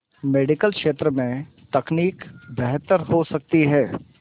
medical क्षेत्र में तकनीक बेहतर हो सकती है